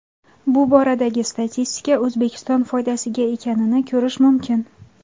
Bu boradagi statistika O‘zbekiston foydasiga ekanini ko‘rish mumkin.